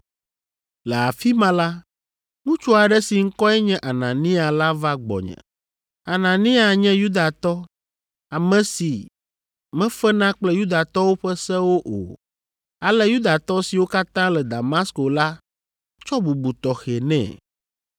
“Le afi ma la, ŋutsu aɖe si ŋkɔe nye Anania la va gbɔnye. Anania nye Yudatɔ, ame si mefena kple Yudatɔwo ƒe sewo o, ale Yudatɔ siwo katã le Damasko la tsɔ bubu tɔxɛ nɛ.